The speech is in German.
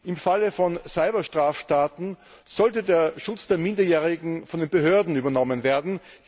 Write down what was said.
Im Falle von Cyberstraftaten sollte der Schutz von Minderjährigen von den Behörden übernommen werden.